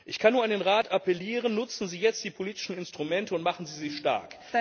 Ich kann nur an den Rat appellieren Nutzen Sie jetzt die politischen Instrumente und machen Sie sie stark.